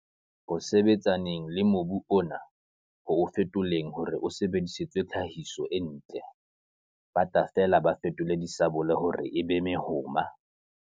Ho sebetsaneng le mobu ona - ho o fetoleng hore o sebedisetswe tlhahiso e ntle, ba tla fela ba fetole disabole hore e be mehoma.